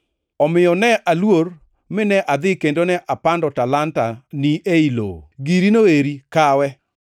Omiyo ne aluor mine adhi kendo ne apando talanta-ni ei lowo. Girino eri kawe.’